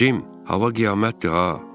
Cim, hava qiyamətdir ha.